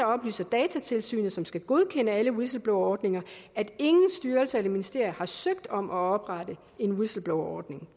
oplyser datatilsynet som skal godkende alle whistleblowerordninger at ingen styrelser eller ministerier har søgt om at oprette en whistleblowerordning